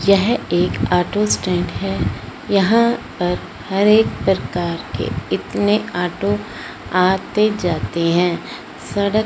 यह एक auto stand है यहां पर हर एक प्रकार के इतने ऑटो आते जाते हैं सरक--